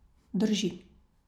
Drži.